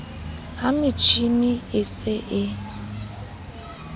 ha metjhini e se e